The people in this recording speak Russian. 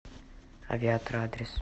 авиатор адрес